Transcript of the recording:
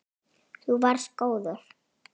Þú varst góður.